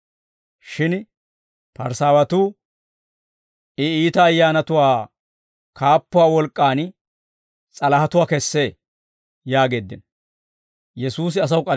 Shin Parisaawatuu, «I iita ayyaanatuwaa kaappuwaa wolk'k'aan s'alahatuwaa kessee» yaageeddino.